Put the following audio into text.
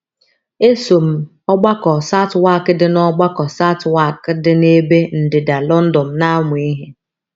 “ Eso m Ọgbakọ Southwark dị Ọgbakọ Southwark dị n’ebe ndịda London na - amụ ihe.